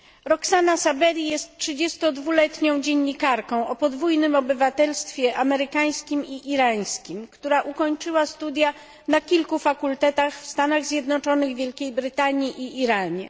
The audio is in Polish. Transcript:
Roxana Saberi jest trzydziestodwuletnią dziennikarką o podwójnym obywatelstwie, amerykańskim i irańskim, która ukończyła studia na kilku fakultetach w Stanach Zjednoczonych, Wielkiej Brytanii i Iranie.